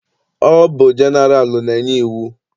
Ọ bụ jeneralụ na-enye iwu.